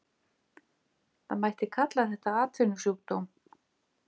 Það mætti kalla það atvinnusjúkdóm.